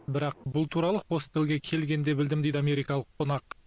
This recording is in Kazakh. бірақ бұл туралы хостелге келгенде білдім дейді америкалық қонақ